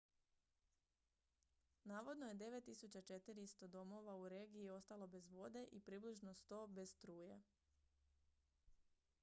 navodno je 9400 domova u regiji ostalo bez vode i približno 100 bez struje